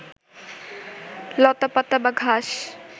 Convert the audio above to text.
লতাপাতা বা ঘাস